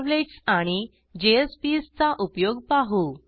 servlets आणि jspsचा उपयोग पाहू